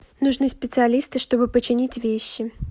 нужны специалисты чтобы починить вещи